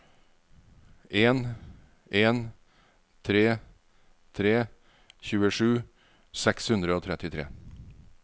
en en tre tre tjuesju seks hundre og trettitre